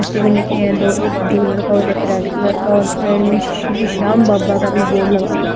रखे है दो एक टू व्हीलर का और एक रेड कलर का और साइड में श्री श्याम बाबा का भी बोर्ड लगा हुआ है।